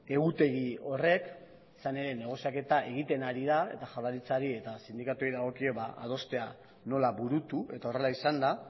egutegi horrek izan ere negoziaketa egiten ari da eta jaurlaritzari eta sindikatuei dagokie adostea nola burutu eta horrela izan da